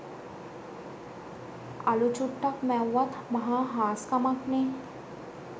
අළු චුට්ටක් මැව්වත් මහා හාස්කමක්නේ.